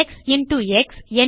X into X